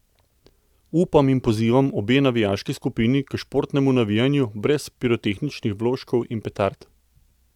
Upam in pozivam obe navijaški skupini k športnemu navijanju, brez pirotehničnih vložkov in petard.